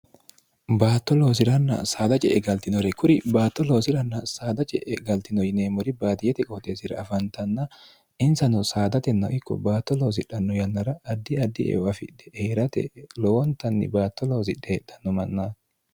baatto loosi'ranna saada je e galtinore kuri baatto loosiranna saada je'e galtino yineemmori baatiyete qooteesira afantanna insano saadatenna ikko baatto loosidhanno yannara addi addi eeu afidhe heerate lowontanni baatto loosidhe heedhanno manna